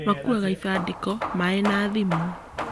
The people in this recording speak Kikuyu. Makuaga ibandĩko, maĩ na thimũ